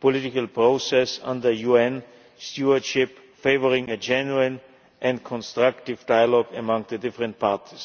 political process under UN stewardship favouring a genuine and constructive dialogue among the different parties.